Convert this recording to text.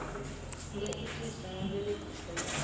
nga itiswa nga mveledziso ya